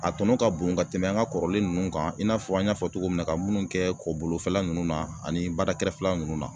A tɔnɔ ka bon ka tɛmɛ an ka kɔrɔlen ninnu kan i n'a fɔ an y'a fɔ cogo min na ka minnu kɛ kɔbolofɛla ninnu na ani bada kɛrɛfɛla ninnu na.